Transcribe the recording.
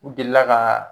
U delila ka